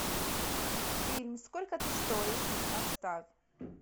фильм сколько ты стоишь поставь